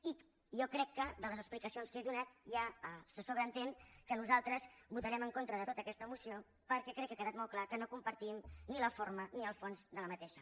i jo crec que de les explicacions que he donat ja se sobreentén que nosaltres votarem en contra de tota aquesta moció perquè crec que ha quedat molt clar que no compartim ni la forma ni el fons d’aquesta